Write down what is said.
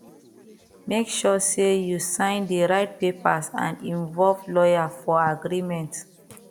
make sure sey you sign di right papers and involve lawyer for agreement